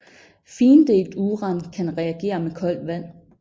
Findelt uran kan reagere med koldt vand